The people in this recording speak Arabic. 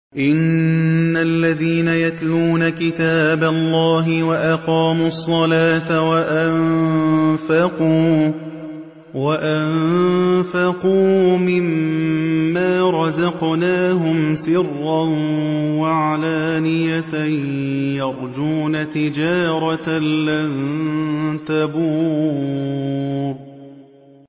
إِنَّ الَّذِينَ يَتْلُونَ كِتَابَ اللَّهِ وَأَقَامُوا الصَّلَاةَ وَأَنفَقُوا مِمَّا رَزَقْنَاهُمْ سِرًّا وَعَلَانِيَةً يَرْجُونَ تِجَارَةً لَّن تَبُورَ